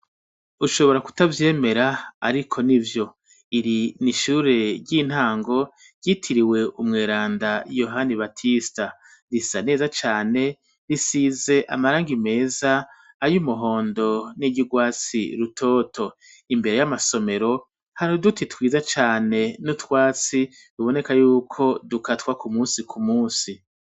Ushobora kutavyemera ariko nivyo ,iri nishure ry'intango ryitiririwe umwerenda yohani Batisita risa neza cane , risize amarangi meza ,ayumuhondo ,niryurwatsi rutoto , imbere yamasomero hari uduti twiza cane nutwatsi tuboneka yuko dukatwa kumunsi kumunsi .